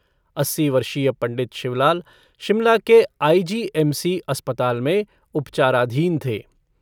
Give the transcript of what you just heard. अस्सी वर्षीय पंडित शिवलाल शिमला के आईजीएमसी अस्पताल में उपचाराधीन थे।